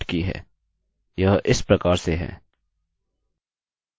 मैं दिखाता हूँ कि मैं अपनी डाइरेक्टरी की संरचना कैसे सेट की है यह इस प्रकार से है